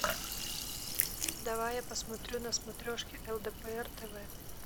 давай я посмотрю на смотрешке лдпр тв